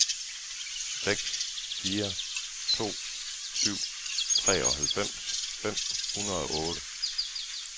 seks fire to syv treoghalvfems fem hundrede og otte